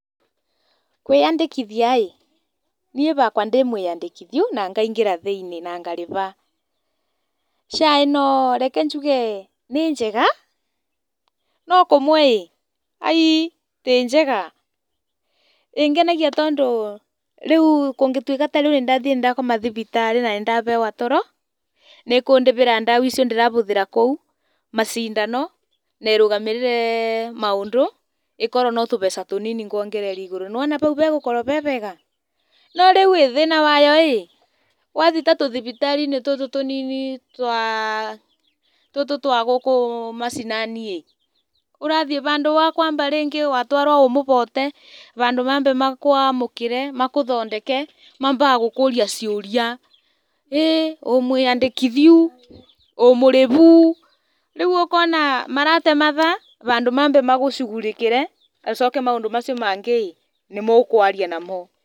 Kwĩyandĩkithia niĩ hakwa ndĩ mwĩyandĩkithiu na ngaingĩra thĩinĩ na ngarĩha. SHA ĩno reke njuge nĩ njega no kũmwe aai ti njega. ĩngenagia tondũ rĩu kũngĩtuĩka nĩndathiĩ na ndakoma thibitarĩ na nĩndaheo toro nĩkũndĩhĩra ndawa icio ndĩrahũthĩra kũu, macindano na ĩrũgamĩrĩre maũndũ ĩkorwo no tũbeca tũnini nguongerera igũrũ, nĩwona hau hagũkorwo harĩ hega? No thĩna wayo rĩ wathiĩ ta tũthibitarĩ tũtũ tũnini tũtũ twa gũkũ macinani ũrathiĩ ta handũ ha kwamba rĩngĩ watwaro wĩ mũhote, handũ mambe makwamũkĩre magũthondeke mambaga gũkũria ciũria. ĩĩ wĩ mwĩyandĩkithiyu? wĩ mũrĩhu? Rĩu ũkona marate mathaa handũ mambe magũcugurĩkĩre macoke maũndũ mau mangĩ nĩmũkwaria namo.